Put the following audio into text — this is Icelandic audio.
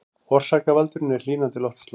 Orsakavaldurinn er hlýnandi loftslag